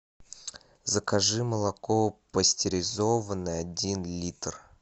закажи молоко пастеризованное один литр